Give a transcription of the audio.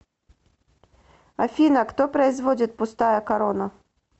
афина кто производит пустая корона